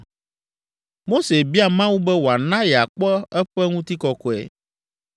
Mose bia Mawu be wòana yeakpɔ eƒe ŋutikɔkɔe.